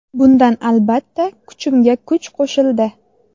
Bundan albatta, kuchimga kuch qo‘shildi.